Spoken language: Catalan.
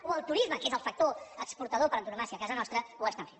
o el turisme que és el factor exportador per antonomàsia a casa nostra ho està fent